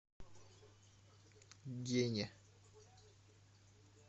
гене